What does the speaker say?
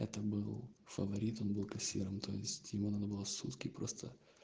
это был фаворит он был кассиром то есть ему надо было сутки просто